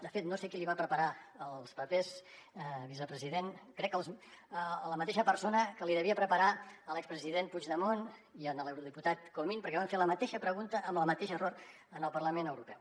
de fet no sé qui li va preparar els papers vicepresident crec que la mateixa persona que li devia preparar a l’expresident puigdemont i a l’eurodiputat comín perquè van fer la mateixa pregunta amb el mateix error al parlament europeu